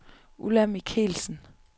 Ulla Michelsen